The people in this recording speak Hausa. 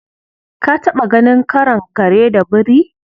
Ka taɓa ganin karon kare da biri?